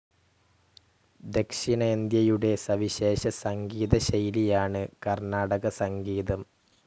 ദക്ഷിണേന്ത്യയുടെ സവിശേഷ സംഗീതശൈലിയാണ് കർണാടകസംഗീതം.